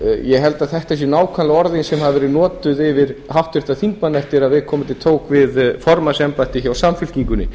ég held að þetta séu nákvæmlega orðin sem hafa verið notuð um háttvirtan þingmann eftir að viðkomandi tók við formannsembætti hjá samfylkingunni